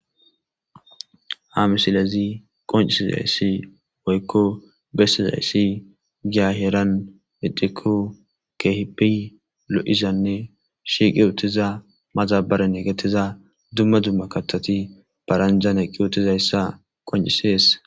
Ha misilezi qoncisizayssi woykko bessizayssi giaheran idiku kehippi lo7izanne shiiqi utiza maxabaren egetiza dumma dumma katati baranjan eqqi utizayssa qoncisees.